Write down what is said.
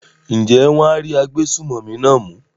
ǹjẹ́ wọn á rí agbésùmọ̀mí náà mú?